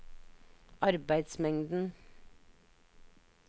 arbeidsmengden